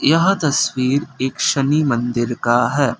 यह तस्वीर एक शनि मंदिर का है।